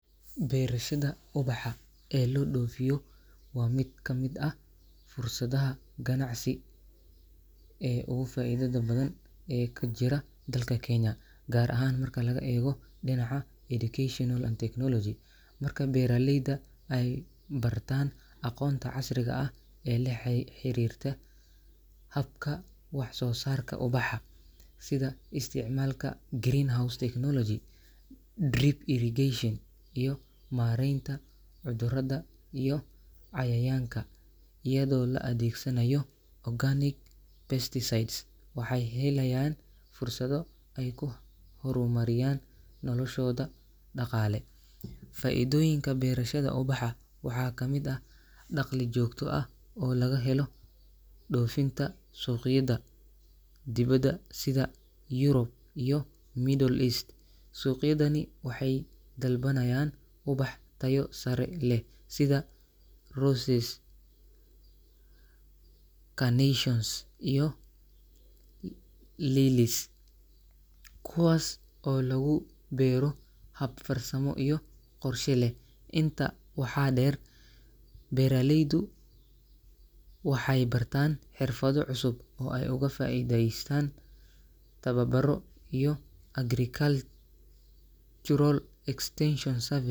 Berashada ubaxa ee la doofiyo waa mid kamid ah fursadaha ganacsi ee ugu faidada badan ee kajira dalka kenya, gaar ahaan marka laga eego dinaca educational and technology marka beeraleyda aay bartaan aqoonta casriga ee la xariirta habka wax soo saarka ubaxa, sida isticmaalka green house technology, drip irrigation iyo mareenta cudurada iyo cayayaanka, iyado la adeegsanaayo organic pesticides waxeey helayaan fursada aay ku hor mariyaan noloshooda daqaale, faidoyinka beerashada ubaxa waxa kamid ah daqli joogto ah oo laga helo dofinta suqyada dibada sida Europe iyo middle East ,suuqydani waxeey dalbanaayan ubax tayo sare leh sida roses ,kuwaas oo lagu beero hab qorsho iyo farsama leh, inta waxa deer beeraleydu waxeey bartaan xirfada cusub ee aay ugu faideestaan tababaro iyo agricultural extension service.